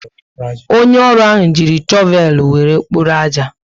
Onye ọrụ ahụ ji chovel were kpọrọ aja